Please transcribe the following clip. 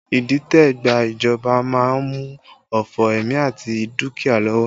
Idite gba ìjọba má ń mú òfo ẹ̀mí àti dúkìá lọ́wọ́